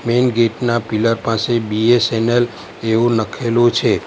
Main gate ના pillar પાસે BSNL જેવુ લખેલુ છે.